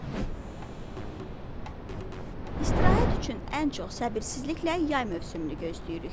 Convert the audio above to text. İstirahət üçün ən çox səbirsizliklə yay mövsümünü gözləyirik.